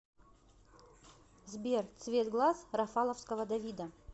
сбер цвет глаз рафаловского давида